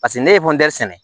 Paseke ne ye sɛnɛ